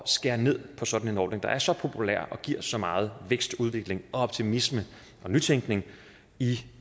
skære ned på sådan en ordning der er så populær og giver så meget vækst udvikling optimisme og nytænkning i